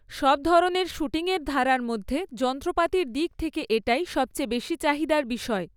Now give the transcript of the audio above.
সব ধরনের শ্যুটিংয়ের ধারার মধ্যে, যন্ত্রপাতির দিক থেকে এটাই সবচেয়ে বেশি চাহিদার বিষয়।